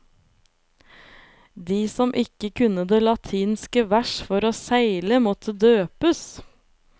De som ikke kunne det latinske vers for å seile måtte døpes.